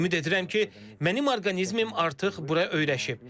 Ümid edirəm ki, mənim orqanizmim artıq bura öyrəşib.